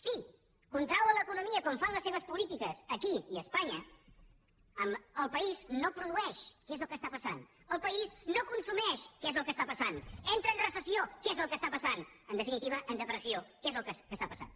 si contrauen l’economia com fan les seves polítiques aquí i a espanya el país no produeix que és el que està passant el país no consumeix que és el que està passant entra en recessió que és el que està passant i en definitiva en depressió que és el que està passant